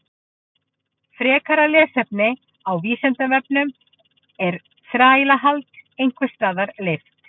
Frekara lesefni á Vísindavefnum: Er þrælahald einhvers staðar leyft?